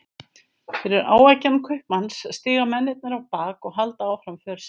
Fyrir áeggjan kaupmanns stíga mennirnir á bak og halda áfram för sinni.